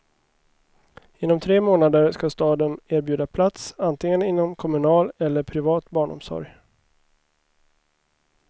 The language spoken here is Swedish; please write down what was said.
Inom tre månader ska staden erbjuda plats, antingen inom kommunal eller privat barnomsorg.